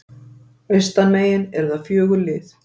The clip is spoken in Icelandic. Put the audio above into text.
Austanmegin eru það fjögur lið